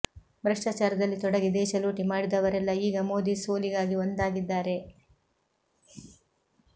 ಭ್ರಷ್ಟಚಾರದಲ್ಲಿ ತೊಡಗಿ ದೇಶ ಲೂಟಿ ಮಾಡಿದವರೆಲ್ಲ ಈಗ ಮೋದಿ ಸೋಲಿಗಾಗಿ ಒಂದಾಗಿದ್ದಾರೆ